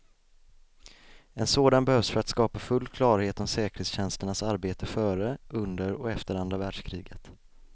En sådan behövs för att skapa full klarhet om säkerhetstjänsternas arbete före, under och efter andra världskriget.